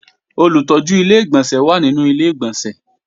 Olùtọ́jú Ilé-ìgbọ̀nsẹ̀ wà nínú Ilé-ìgbọ̀nsẹ̀